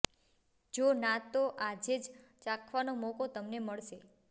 જો ના તો આજે જ ચાખવાનો મોકો તમને મળશે